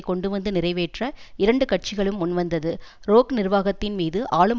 கொண்டுவந்து நிறைவேற்ற இரண்டு கட்சிகளும் முன்வந்தது ரோக் நிர்வாகத்தின் மீது ஆளும்